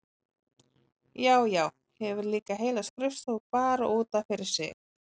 Já, já, hefur líka heila skrifstofu bara út af fyrir sig!